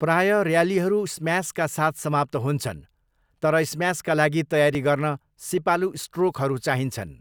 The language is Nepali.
प्राय र्यालीहरू स्म्यासका साथ समाप्त हुन्छन्, तर स्म्यासका लागि तयारी गर्न सिपालु स्ट्रोकहरू चाहिन्छन्।